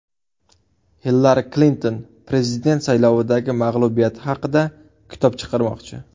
Hillari Klinton prezident saylovidagi mag‘lubiyati haqida kitob chiqarmoqchi.